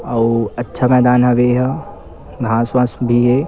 अऊ अच्छा मैदान हवे एहा घाँस वास उगे हे।